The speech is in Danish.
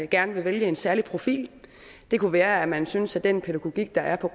gerne vil vælge en særlig profil det kunne være at man synes at den pædagogik der er på